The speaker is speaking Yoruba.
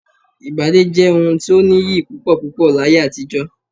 Ìbálé jẹ́ ohun tó nìyí púpọ̀púpọ̀ láyé àtijọ́